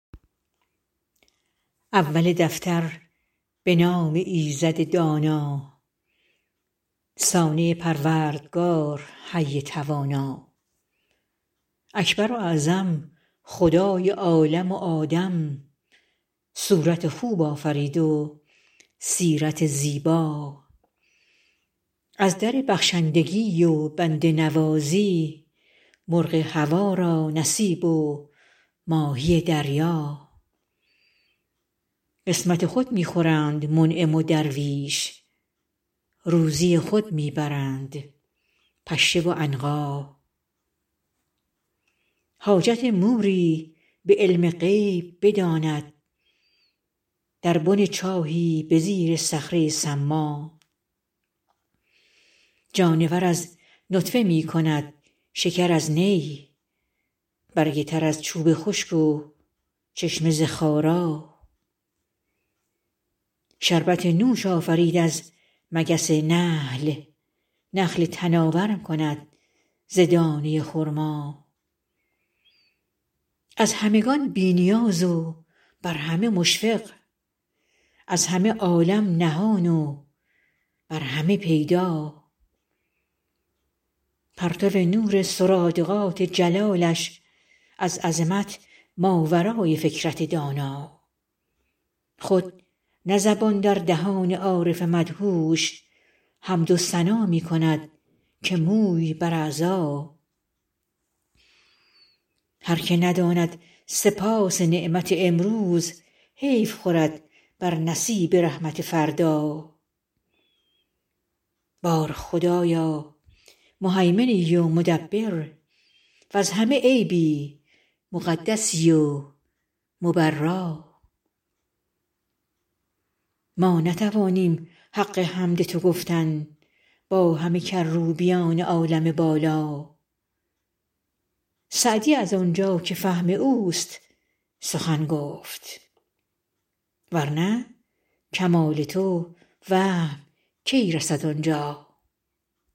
اول دفتر به نام ایزد دانا صانع پروردگار حی توانا اکبر و اعظم خدای عالم و آدم صورت خوب آفرید و سیرت زیبا از در بخشندگی و بنده نوازی مرغ هوا را نصیب و ماهی دریا قسمت خود می خورند منعم و درویش روزی خود می برند پشه و عنقا حاجت موری به علم غیب بداند در بن چاهی به زیر صخره ی صما جانور از نطفه می کند شکر از نی برگ تر از چوب خشک و چشمه ز خارا شربت نوش آفرید از مگس نحل نخل تناور کند ز دانه ی خرما از همگان بی نیاز و بر همه مشفق از همه عالم نهان و بر همه پیدا پرتو نور سرادقات جلالش از عظمت ماورای فکرت دانا خود نه زبان در دهان عارف مدهوش حمد و ثنا می کند که موی بر اعضا هر که نداند سپاس نعمت امروز حیف خورد بر نصیب رحمت فردا بار خدایا مهیمنی و مدبر وز همه عیبی مقدسی و مبرا ما نتوانیم حق حمد تو گفتن با همه کروبیان عالم بالا سعدی از آنجا که فهم اوست سخن گفت ور نه کمال تو وهم کی رسد آنجا